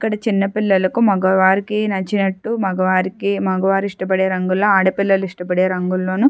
అక్కడ చిన్న పిల్లలకు మగవారికి నచ్చినట్టు మగవారికి మగవారు ఇష్టపడే రంగు లో ఆడపిల్లలు ఇష్టపడే రంగుల్లోనూ--